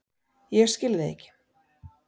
Ég skil þig ekki